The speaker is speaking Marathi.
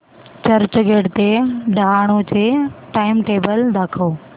चर्चगेट ते डहाणू चे टाइमटेबल दाखव